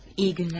İyi günler.